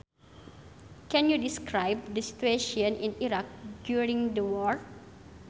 Can you describe the situation in Iraq during the war